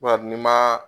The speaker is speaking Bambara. n'i ma